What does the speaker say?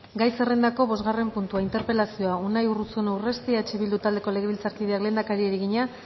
gai zerrendako bosgarren puntua interpelazioa unai urruzuno urresti eh bildu taldeko legebiltzarkideak lehendakari egina